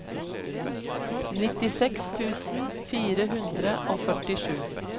nittiseks tusen fire hundre og førtisju